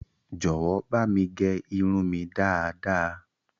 Jọ̀wọ́ bámi gẹ irun mi dáadaa!